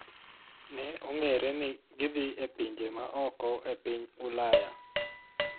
Ne ong�ere ni gidhi e pinje ma oko e piny Ulaya .